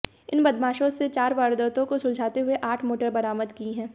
इन बदमाशों से चार वारदातों को सुलझाते हुए आठ मोटर बरामद की हैं